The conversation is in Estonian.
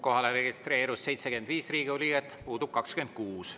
Kohale registreerus 75 Riigikogu liiget, puudub 26.